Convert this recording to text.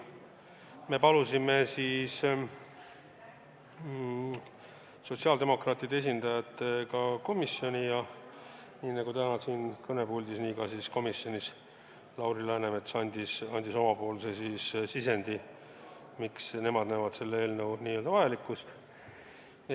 Me palusime sotsiaaldemokraatide esindaja ka komisjoni ja nii nagu täna siin kõnepuldis, andis Lauri Läänemets ka komisjonis omapoolse sisendi, miks nad seda eelnõu vajalikuks peavada.